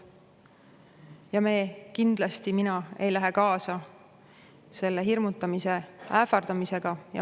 Ja kindlasti mina ei lähe kaasa selle hirmutamise ja ähvardamisega.